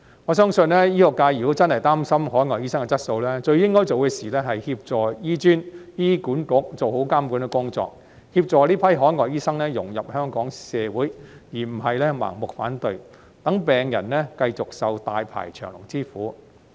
我相信，醫學界如果真的擔心海外醫生的質素，最應該做的是協助醫專及醫管局做好監管工作，協助這批海外醫生融入香港社會，而不是盲目反對，讓病人繼續受大排長龍之苦。